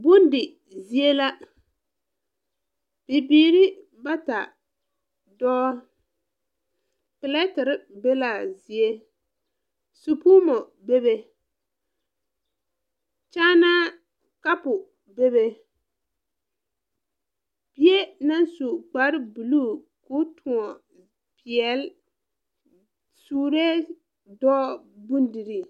Bondi zie la bibiire bata dɔɔ pilɛterre be laa zie supuumo bebe kyaanaa kapu bebe bie naŋ su kparebluu koo tõɔn peɛɛli suree dɔɔ bondirii.